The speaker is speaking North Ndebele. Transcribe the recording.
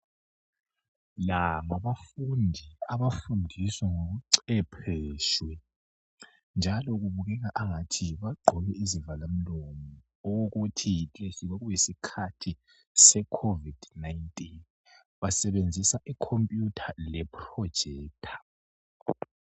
la ngabafundi abafundiswa ngobucwephetshi njalo kubukeka engani bagqoke izivala mlomo okokuthi kwakuyisikhathi se covid 19 basebenzisa i computer le projector